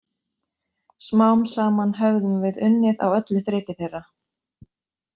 Smám saman höfðum við unnið á öllu þreki þeirra.